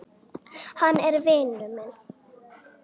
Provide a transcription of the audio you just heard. Hann er vinur minn